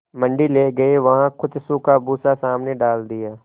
मंडी ले गये वहाँ कुछ सूखा भूसा सामने डाल दिया